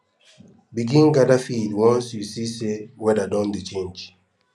begin gather feed once you see say weada don dey change